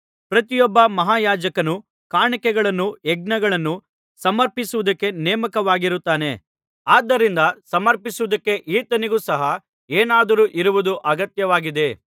ಪ್ರತಿಯೊಬ್ಬ ಮಹಾಯಾಜಕನು ಕಾಣಿಕೆಗಳನ್ನೂ ಯಜ್ಞಗಳನ್ನೂ ಸಮರ್ಪಿಸುವುದಕ್ಕೆ ನೇಮಕವಾಗಿರುತ್ತಾನೆ ಆದ್ದರಿಂದ ಸಮರ್ಪಿಸುವುದಕ್ಕೆ ಈತನಿಗೂ ಸಹ ಏನಾದರೂ ಇರುವುದು ಅಗತ್ಯವಾಗಿದೆ